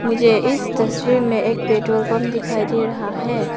मुझे इस तस्वीर में एक पेट्रोल पंप दिखाई दे रहा है।